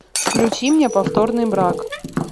включи мне повторный брак